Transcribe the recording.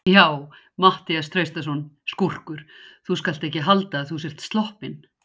Já, Matthías Traustason, skúrkur, þú skalt ekki halda að þú sért sloppinn!